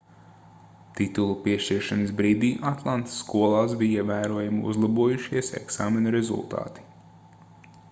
titula piešķiršanas brīdī atlantas skolās bija ievērojami uzlabojušies eksāmenu rezultāti